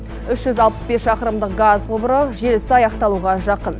үш жүз алпыс бес шақырымдық газ құбыры желісі аяқталуға жақын